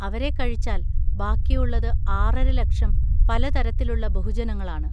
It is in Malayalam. അവരെ കഴിച്ചാൽ ബാക്കിയുള്ളത് ആറര ലക്ഷം പല തരത്തിലുള്ള ബഹുജനങ്ങളാണ്.